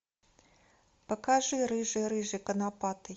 покажи рыжий рыжий конопатый